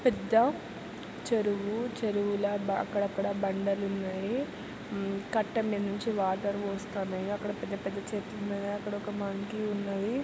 పెద్ద చెరువు -చెరువుల ల అక్కడక్కడ బండలు ఉన్నాయి హ్మ్ కట్టంల మీద నుంచి వాటర్ పోస్తున్నాయి అక్కడ పెద్ద పెద్ద చెట్లు ఉన్నాయి అక్కడ మంకీ ఉన్నది.